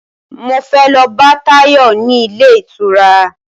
Mo fẹ́ lọ bá Táyọ̀ ní ilé ìtura